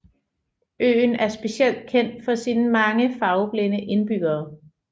Øen er specielt kendt for sine mange farveblinde indbyggere